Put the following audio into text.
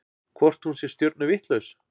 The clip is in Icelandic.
Hvort hún sé stjörnuvitlaus?